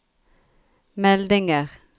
meldinger